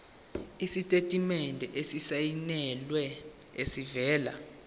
isitatimende esisayinelwe esivela